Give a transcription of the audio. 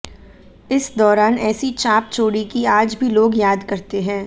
इस दौरान ऐसी छाप छोड़ी कि आज भी लोग याद करते हैं